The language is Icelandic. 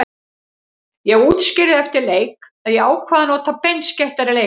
Ég útskýrði eftir leik að ég ákvað að nota beinskeyttari leikmenn.